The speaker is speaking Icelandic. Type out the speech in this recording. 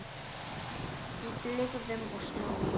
Í blygðun og smán.